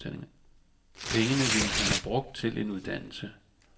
Pengene ville han have brugt til en uddannelse.